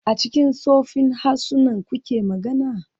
A cikin tsoffin harsunan kuke magana?